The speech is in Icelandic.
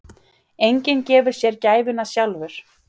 Enginn gefur sér gæfuna sjálfur.